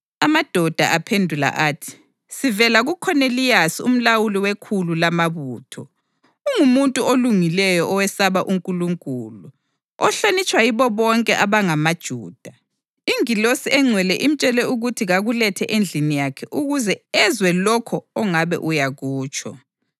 Amadoda aphendula athi, “Sivela kuKhoneliyasi umlawuli wekhulu lamabutho. Ungumuntu olungileyo owesaba uNkulunkulu, ohlonitshwa yibo bonke abangamaJuda. Ingilosi engcwele imtshele ukuthi kakulethe endlini yakhe ukuze ezwe lokho ongabe uyakutsho.”